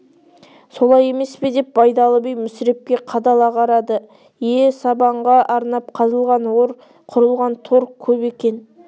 солай емес пе деп байдалы би мүсірепке қадала қарады ие сибанға арнап қазылған ор құрылған тор кеп екен